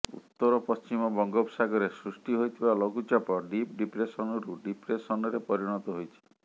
ଉତ୍ତରପଶ୍ଚିମ ବଙ୍ଗୋପସାଗରରେ ସୃଷ୍ଟି ହୋଇଥିବା ଲଘୁଚାପ ଡିପ୍ ଡିପ୍ରେସନରୁ ଡିପ୍ରେସନରେ ପରିଣତ ହୋଇଛି